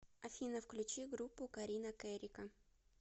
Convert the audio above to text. афина включи группу карина кэрика